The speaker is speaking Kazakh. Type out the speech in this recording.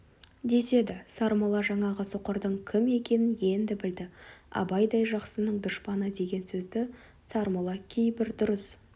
деседі сармолла жаңағы соқырдың кім екенін енді білді абайдай жақсының дұшпаны деген сөзді сармолла кейбір дұрыс